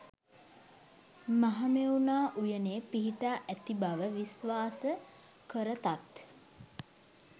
මහමෙවුනා උයනේ පිහිටා ඇති බව විශ්වාස කරතත්,